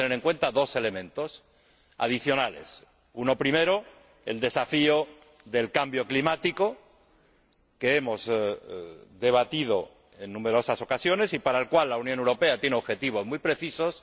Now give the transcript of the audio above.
Hay que tener en cuenta dos elementos adicionales el primero, el desafío del cambio climático, que hemos debatido en numerosas ocasiones y para el cual la Unión Europea tiene objetivos muy precisos